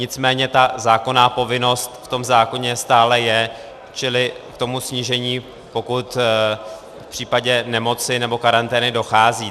Nicméně ta zákonná povinnost v tom zákoně stále je, čili k tomu snížení, pokud v případě nemoci nebo karantény dochází.